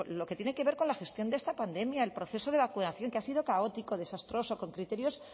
lo que tiene que ver con la gestión de esta pandemia el proceso de vacunación que ha sido caótico desastroso con criterios